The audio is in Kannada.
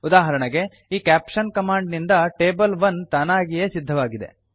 ಉದಾಹರಣೆಗೆ ಈ ಕ್ಯಾಪ್ಷನ್ ಕಮಾಂಡ್ ನಿಂದ ಟೇಬಲ್ 1 ತಾನಾಗಿಯೇ ಸಿದ್ಧವಾಗಿದೆ